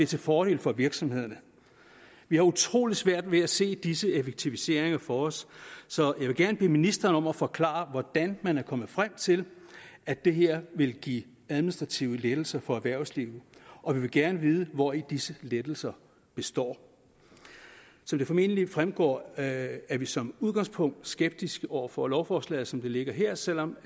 til fordel for virksomhederne vi har utrolig svært ved at se disse effektiviseringer for os så jeg vil gerne bede ministeren om at forklare hvordan man er kommet frem til at det her vil give administrative lettelser for erhvervslivet og vi vil gerne vide hvori disse lettelser består som det formentlig fremgår er vi som udgangspunkt skeptiske over for lovforslaget som det ligger her selv om